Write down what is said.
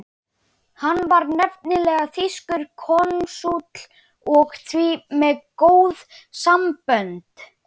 Hann var nefnilega þýskur konsúll og því með góð sambönd.